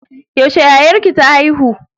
Yaushe yayarki ta haihu?